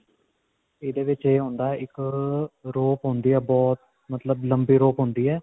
ਇਹਦੇ ਵਿਚ ਇਹ ਹੁੰਦਾ ਇੱਕ ਅਅ rope ਹੁੰਦੀ ਹੈ ਬਹੁਤ ਮਤਲਬ ਲੰਬੀ rope ਹੁੰਦੀ ਹੈ.